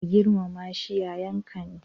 Ka girmama shi, yayanka ne.